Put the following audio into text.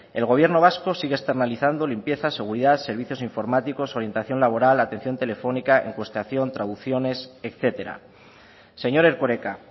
el gobierno vasco sigue externalizando limpieza seguridad servicios informáticos orientación laboral atención telefónica encuestación traducciones etcétera señor erkoreka